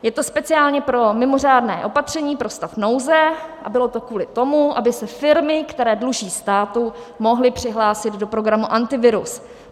Je to speciálně pro mimořádné opatření pro stav nouze a bylo to kvůli tomu, aby se firmy, které dluží státu, mohly přihlásit do programu Antivirus.